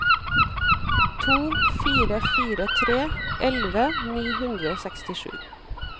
to fire fire tre elleve ni hundre og sekstisju